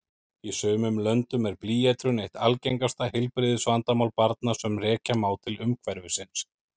Í sumum löndum er blýeitrun eitt algengasta heilbrigðisvandamál barna sem rekja má til umhverfisins.